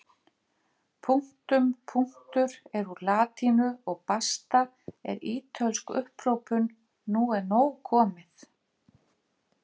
Punktum punktur er úr latínu og basta er ítölsk upphrópun nú er nóg komið!